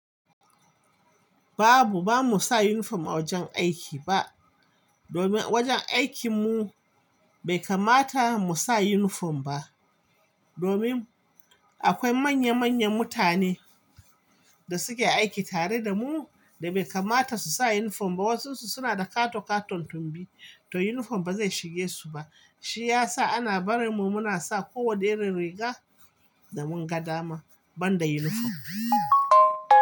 Babu, ba mu sa uniform a wajen aiki ba. Domin wajen aikinmu bai kamata mu sa uniform ba. Domin akwai manya manyan mutane da suke aiki tare da mu da bai kamata su sa uniform ba. Wasu suna da katon-katon tumbi, to uniform ba zai shige su ba. Shi ya sa ana bari mu muna sa ko wane riga da mun ga dama banda uniform.